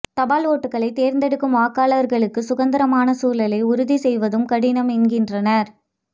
தபால் ஓட்டுக்களை தேர்ந்தெடுக்கும் வாக்காளர்களுக்கு சுதந்திரமான சூழலை உறுதி செய்வதும் கடினம் என்கின்றனர்